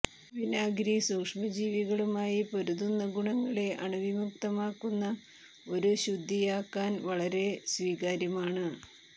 വിനാഗിരി സൂക്ഷ്മജീവികളുമായി പൊരുതുന്ന ഗുണങ്ങളെ അണുവിമുക്തമാക്കുന്ന ഒരു ശുദ്ധിയാകാൻ വളരെ സ്വീകാര്യമാണ്